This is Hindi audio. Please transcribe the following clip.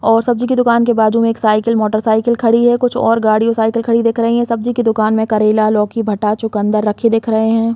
और सब्जी की दुकान के बाजु में एक साइकिल मोटरसाइकिल खड़ी है कुछ और गाड़ी और साइकिल खड़ी दिख रही है सब्जी के दुकान में करेला लौकी भाटा चुकंदर रखे दिख रहे है।